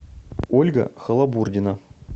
ольга халабурдина